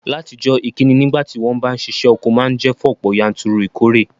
Látijọ́, ìkíni nígbàtí won ba n sisẹ́ oko ma n je fún ọ̀pọ̀yanturu ìkóre